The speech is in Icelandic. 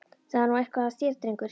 Það er nú eitthvað að þér, drengur!